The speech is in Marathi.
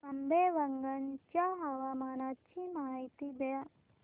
आंबेवंगन च्या हवामानाची माहिती द्या